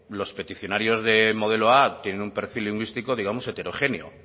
los peticionarios de modelo a tienen un perfil lingüístico digamos heterogéneo